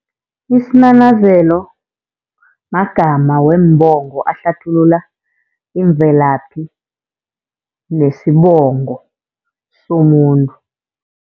Isinanazelo, magama weembongo ahlathulula imvelaphi nesibongo somuntu.